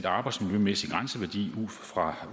arbejdsmiljømæssig grænseværdi ud fra